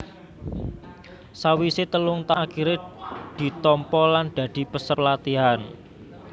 Sawisé telung taun akhiré ditampa lan dadi peserta pelatihan